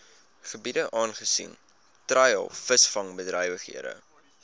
gebiede aangesien treilvisvangbedrywighede